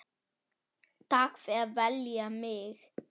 Takk fyrir að velja mig.